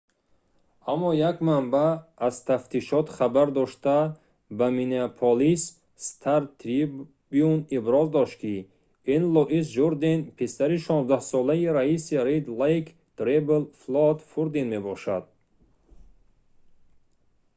аммо як манбаъ аз тафтишот хабар дошта ба миннеаполис стар-трибюн иброз дошт ки ин луис журден писари 16-солаи раиси red lake tribal флойд фурден мебошад